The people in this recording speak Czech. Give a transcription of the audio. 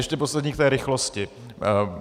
Ještě poslední k té rychlosti.